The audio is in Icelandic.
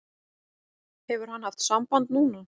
Hefur hann haft samband núna?